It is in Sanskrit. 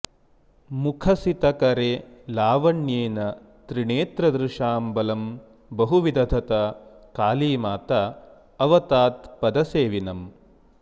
मुखसितकरे लावण्येन त्रिणेत्रदृशां बलं बहु विदधता काली माताऽवतात्पदसेविनम्